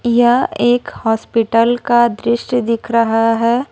यह एक हॉस्पिटल का दृश्य दिख रहा है।